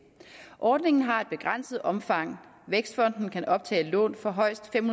ordningen har et begrænset omfang vækstfonden kan optage lån for højst fem